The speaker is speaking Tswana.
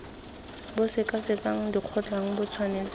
bo sekasekang dikgotlang bo tshwanetse